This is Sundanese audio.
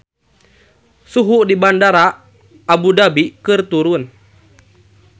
Suhu di Bandara Abu Dhabi keur turun